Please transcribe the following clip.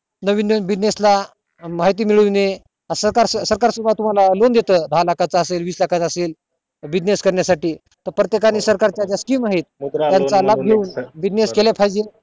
नवीन नवीन business ला माहिती मिळवणे सरकार सरकार सुद्धा तुम्हला loan देत दहा लाख च असेल वीस लाखाचं असेल business करण्या साठी प्रत्येकाने सरकारच्या यांच्यात scheme आहे त्याचा लाभ घेऊन business केला च पाहिजे